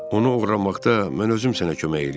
Onu oğurlamaqda mən özüm sənə kömək eləyərəm.